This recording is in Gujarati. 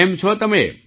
કેમ છો તમે